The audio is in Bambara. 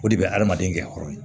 O de bɛ adamaden kɛyɔrɔ ye